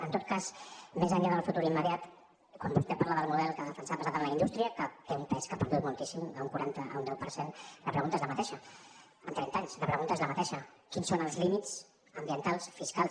en tot cas més enllà del futur immediat quan vostè parla del model que ha defensat basat en la indústria que té un pes que ha perdut moltíssim d’un quaranta a un deu per cent la pregunta és la mateixa en trenta anys la pregunta és la mateixa quins són els límits ambientals fiscals